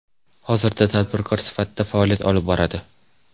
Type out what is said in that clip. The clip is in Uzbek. Hozirda tadbirkor sifatida faoliyat olib boradi.